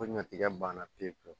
Ko ɲɔtigɛ banna pewu pewu